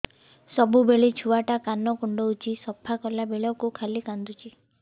ସବୁବେଳେ ଛୁଆ ଟା କାନ କୁଣ୍ଡଉଚି ସଫା କଲା ବେଳକୁ ଖାଲି କାନ୍ଦୁଚି